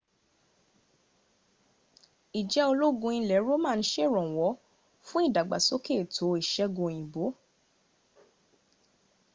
ìjẹ́ ológun ilẹ̀ roman sèrànwọ́ fún ìdàgbàsóke ètò ìsègùn òyìnbó